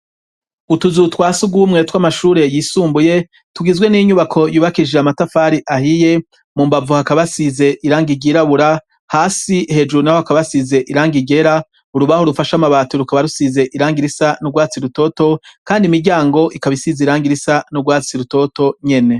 Utuzu twa sugumwe tw'amashure yisumbuye tugizwe n'inyubako yubakijije amatafari ahiye mu mbavu hakaba asize irangigirabura hasi hejuru naho hakaba asize irang igera urubaho rufasha amabati rukaba rusize irangirisa n'urwatsi rutoto kandi imiryango ikaba isize irangirisa n'urwatsi rutoto nyene.